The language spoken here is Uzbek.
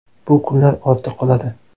Bu kunlar ortda qoladi.